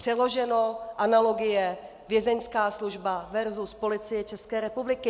Přeloženo - analogie Vězeňská služba versus Policie České republiky.